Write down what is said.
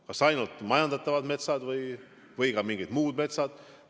Kas ainult majandatavad metsad või ka mingid muud metsad?